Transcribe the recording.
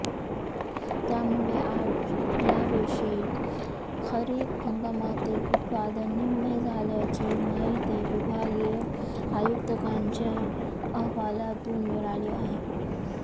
त्यामुळे यावषी खरीप हंगामातील उत्पादन निम्मे झाल्याची माहिती विभागीय आयुक्तांच्या अहवालातून मिळाली आहे